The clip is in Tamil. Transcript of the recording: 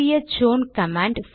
CH own command